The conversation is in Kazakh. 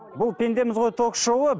бұл пендеміз ғой ток шоуы